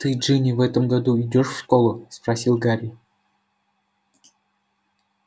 ты джинни в этом году идёшь в школу спросил гарри